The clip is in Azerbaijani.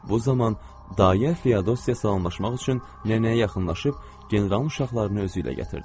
Bu zaman dayə Feodosya salamlaşmaq üçün nənəyə yaxınlaşıb generalın uşaqlarını özü ilə gətirdi.